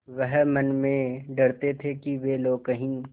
वह मन में डरते थे कि वे लोग कहीं